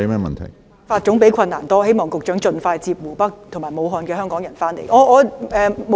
辦法總比困難多，希望局長盡快接在湖北及武漢的香港人回港。